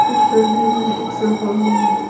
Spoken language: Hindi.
इस तस्वीर में एक सोफा भी है।